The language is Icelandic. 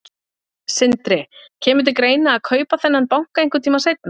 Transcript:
Sindri: Kemur til greina að kaupa þennan banka einhvern tímann seinna?